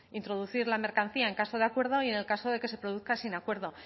introducir la mercancía en caso de acuerdo y en el caso de que se produzca sin acuerdo